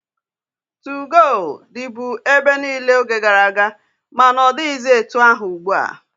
2go dịbu ebe niile oge gara aga, ma na ọ dịghịzi etu ahụ ugbua.